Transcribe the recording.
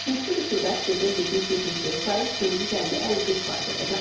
Nisbi rütubət gecə 70-75%, gündüz 50-55% olacaq.